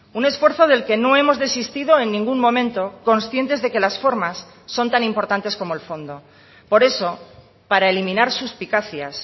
un esfuerzo del que no hemos desistido en ningún momento conscientes de que las formas son tan importantes como el fondo por eso para eliminar suspicacias